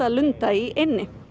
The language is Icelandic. lunda í eynni